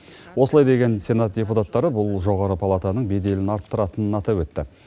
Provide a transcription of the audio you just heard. осылай деген сенат депутаттары бұл жоғарғы палатаның беделін арттыратынын атап өтті